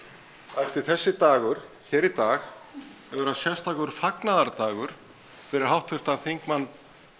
ætti þessi dagur hér í dag að vera sérstakur fagnaðardagur fyrir háttvirtan þingmann